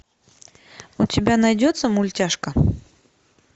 у тебя найдется мультяшка